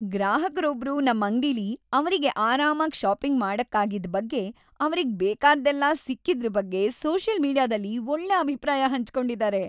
ಗ್ರಾಹಕ್ರೊಬ್ರು ನಮ್ ಅಂಗ್ಡಿಲಿ ಅವ್ರಿಗೆ ಆರಾಮಾಗ್‌ ಷಾಪಿಂಗ್‌ ಮಾಡಕ್ಕಾಗಿದ್ ಬಗ್ಗೆ, ಅವ್ರಿಗ್‌ ಬೇಕಾಗಿದ್ದೆಲ್ಲ ಸಿಕ್ಕಿದ್ರ್‌ ಬಗ್ಗೆ ಸೋಷಿಯಲ್‌ ಮೀಡಿಯಾದಲ್ಲಿ ಒಳ್ಳೆ ಅಭಿಪ್ರಾಯ ಹಂಚ್ಕೊಂಡಿದಾರೆ.